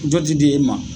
Jɔ ti di e ma